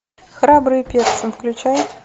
храбрые перцы включай